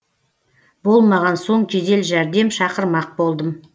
болмаған соң жедел жәрдем шақырмақ болдым